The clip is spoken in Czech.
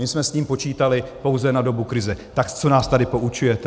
My jsme s ním počítali pouze na dobu krize, tak co nás tady poučujete!